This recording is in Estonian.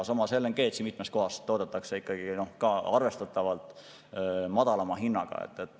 Samas, LNG-d mitmes kohas toodetakse ka arvestatavalt madalama hinnaga.